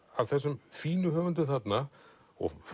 af þessum fínum höfundum þarna og